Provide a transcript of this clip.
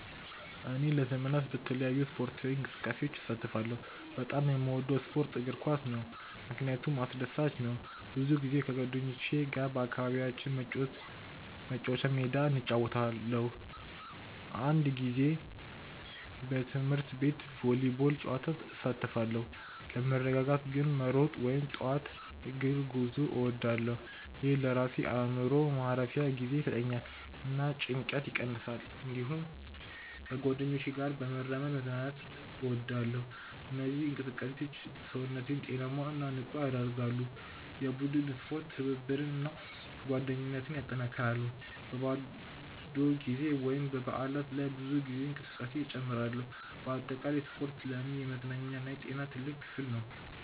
እኔ ለመዝናናት በተለያዩ ስፖርታዊ እንቅስቃሴዎች እሳተፋለሁ። በጣም የምወደው ስፖርት እግር ኳስ ነው፣ ምክንያቱም አስደሳች ነው። ብዙ ጊዜ ከጓደኞቼ ጋር በአካባቢያችን መጫወቻ ሜዳ እጫወታለሁ። አንዳንድ ጊዜ በትምህርት ቤት ቮሊቦል ጨዋታ እሳተፋለሁ። ለመረጋጋት ግን መሮጥ ወይም ጠዋት እግር ጉዞ እወዳለሁ። ይህ ለራሴ አእምሮ ማረፊያ ጊዜ ይሰጠኛል እና ጭንቀትን ይቀንሳል። እንዲሁም ከጓደኞቼ ጋር በመራመድ መዝናናት እወዳለሁ። እነዚህ እንቅስቃሴዎች ሰውነቴን ጤናማ እና ንቁ ያደርጋሉ። የቡድን ስፖርት ትብብርን እና ጓደኝነትን ያጠናክራል። በባዶ ጊዜ ወይም በበዓላት ላይ ብዙ ጊዜ እንቅስቃሴ እጨምራለሁ። በአጠቃላይ ስፖርት ለእኔ የመዝናኛ እና የጤና ትልቅ ክፍል ነው።